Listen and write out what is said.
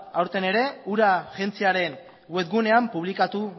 aurten ere ura agentziaren web gunean publikatu